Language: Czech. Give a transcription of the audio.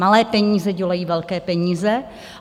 Malé peníze dělají velké peníze.